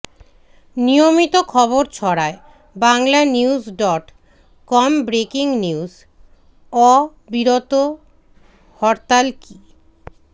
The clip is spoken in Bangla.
নিয়মিত খবর ছড়ায় Bangla news dot com breaking news অবিরতহরতাল কি